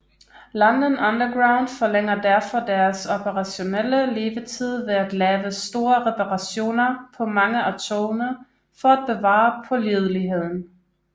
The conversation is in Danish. London Underground forlænger derfor deres operationelle levetid ved at lave store reparationer på mange af togene for at bevare pålideligheden